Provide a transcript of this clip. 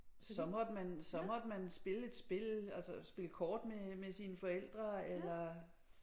Så måtte man så måtte man spille et spil altså spille kort med med sine forældre eller